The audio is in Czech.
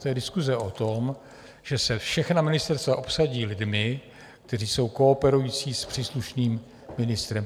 To je diskuse o tom, že se všechna ministerstva obsadí lidmi, kteří jsou kooperující s příslušným ministrem.